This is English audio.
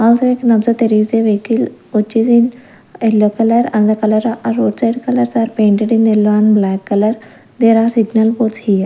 there is a vehicle which is in yellow color and the color are outside color they are painted in yellow and black color there are signal for .]